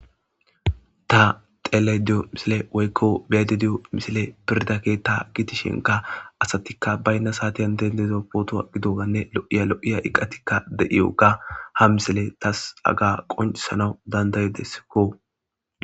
Ta xellayido de'iyo misiley woykko beyayido diyo misiley pirda ketta gidishinkka asatikka bayna saatiyan dendida.pottuwanne lo'iya lo'iya iiqatikka de'iyagga ha misiley tas hagga qonccisanaw dandda'iedesikko